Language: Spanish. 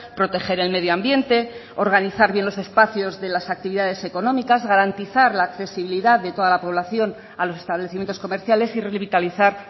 proteger el medio ambiente organizar bien los espacios de las actividades económicas garantizar la accesibilidad de toda la población a los establecimientos comerciales y revitalizar